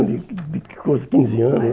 de de com uns quinze anos.